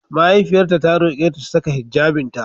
Mahaifiyarta ta roƙe ta 'Ta saka hijjabinta!'